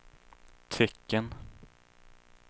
tecken